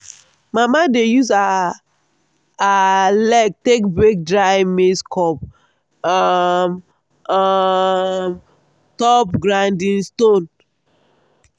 mama dey use her her leg take break dry maize cob um on um top grinding stone.